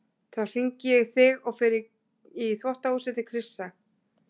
Þá hringi ég í þig og fer í þvottahúsið til Krissa.